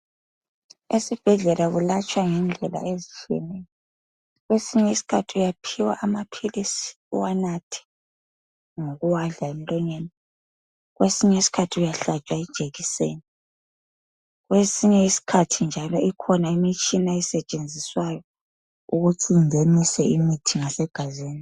Esibhedlela kuyelatshwa ngendlela ezitshiyeneyo. Kwesinye isikhathi uyaphiwa amaphilisi uwanathe ngokuwadla emlonyeni, kwesinye isikhathi uyahlatshwa ijikiseni, kwesinye isikhathi njalo ikhona imitshina esetshenziswayo ukuthi ingenise imithi ngasegazini.